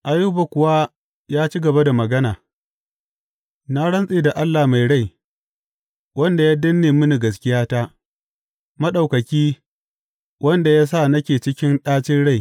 Ayuba kuwa ya ci gaba da magana, Na rantse da Allah mai rai, wanda ya danne mini gaskiyata, Maɗaukaki, wanda ya sa nake cikin ɗacin rai.